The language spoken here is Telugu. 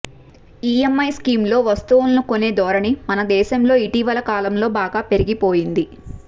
ఈఎంఐ స్కీమ్ లో వస్తువులను కొనే ధోరణి మన దేశంలో ఇటీవలి కాలంలో బాగా పెరిగిపోయింది